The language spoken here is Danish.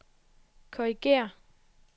korrigér